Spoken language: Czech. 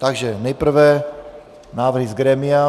Takže nejprve návrhy z grémia.